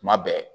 Kuma bɛɛ